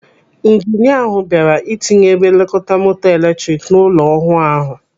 Ijinia ahụ bịara ịtinye ebe nlekọta moto eletrik n'ụlọ ọhụụ ahụ.